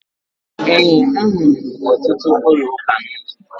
Ee, ahụrụ m ọtụtụ ụlọụka n'ụzọ.